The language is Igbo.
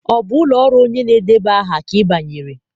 Ọ bụ ụlọ ọrụ onye na-edeba aha ka ị banyere?